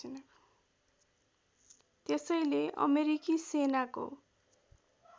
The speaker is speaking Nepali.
त्यसैले अमेरिकी सेनाको